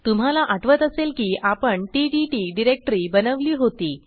तुम्हाला आठवत असेल की आपण टीटीटी डिरेक्टरी बनवली होती